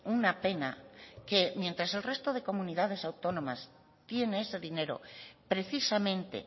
una pena que mientras el resto de comunidades autónomas tiene ese dinero precisamente